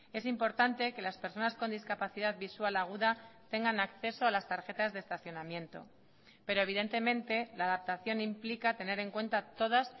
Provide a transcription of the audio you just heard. es importante que las personas con discapacidad visual aguda tengan acceso a las tarjetas de estacionamiento pero evidentemente la adaptación implica tener en cuenta todas